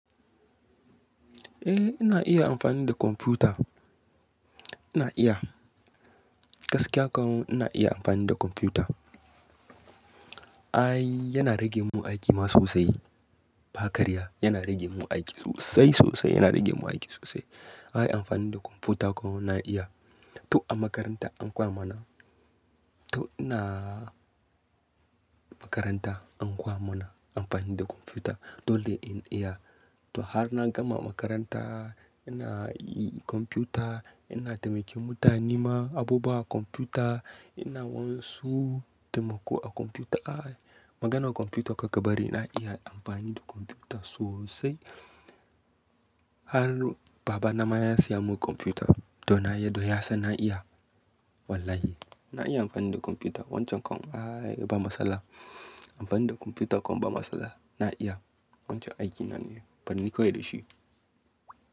Eh ina iya amfani da kwamfuta. Ina iya, gaskiya kam ina iya amfani da kwamfuta. Ai yana rage mun aiki ma sosai. Bakarya, yana rage mun aiki sosai sosai, yana rage mun aiki sosai. Ai amfani da kwamfuta kam na iya. To a makaranta an koya mana, to ina makaranta an koya mana amfani da kwamfuta dole in iya. To har na gama makaranta ina yi kwamfuta, ina taimake mutane ma abubuwa a kwamfuta, ina wansu taimako a kwamfuta. Ai maganar kwamfuta gabaɗaya ina iya amfani da kwamfuta sosai. Har babana ma ya siya mun kwamfuta don yaɗo ya san na iya. Wallahi ina iya amfani da kwamfuta wancan kam. Ai ba matsala amfani da kwamfuta kam ba matsala na iya. Wancan aiki nane, banni kawai da shi.